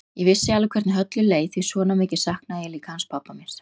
Ég vissi alveg hvernig Höllu leið því svona mikið saknaði ég líka hans pabba míns.